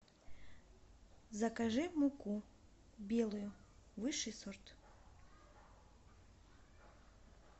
закажи муку белую высший сорт